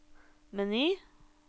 meny